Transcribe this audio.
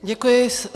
Děkuji.